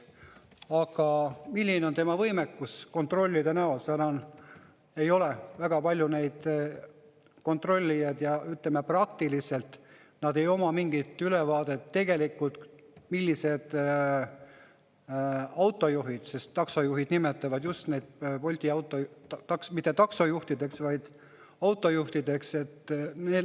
Aga milline on tema võimekus kontrollida, sest ei ole väga palju neid kontrollijaid ja, ütleme, praktiliselt nad ei oma mingit ülevaadet, millised on need autojuhid, sest taksojuhid nimetavad neid Bolti juhte mitte taksojuhtideks, vaid just autojuhtideks.